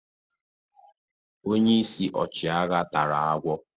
Onye isi ọchịagha tara agwọ.